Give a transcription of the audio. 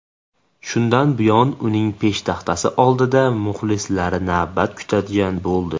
Shundan buyon uning peshtaxtasi oldida muxlislari navbat kutadigan bo‘ldi.